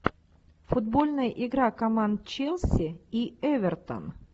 футбольная игра команд челси и эвертон